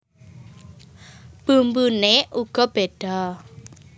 Bumbune uga bedha